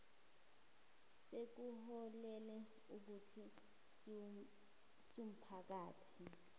sekuholele ekuthini siwumphakathi